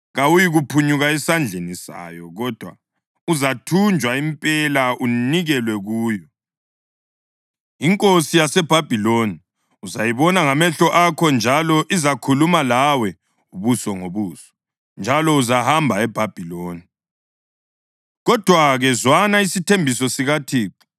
Kawuyikuphunyuka esandleni sayo kodwa uzathunjwa impela unikelwe kuyo. Inkosi yaseBhabhiloni uzayibona ngamehlo akho, njalo izakhuluma lawe ubuso ngobuso. Njalo uzahamba eBhabhiloni.